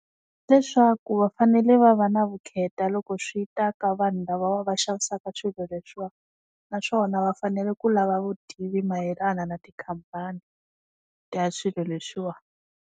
Leswaku va fanele va va na vukheta loko swi ta ka vanhu lava va xavisaka swilo leswi wa, naswona va fanele ku lava vutivi mayelana na tikhampani, ta ya swilo leswi wa.